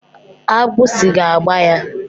Agbụsi ga-agba ya.